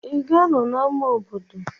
Ị ga-anọ na ama obodo?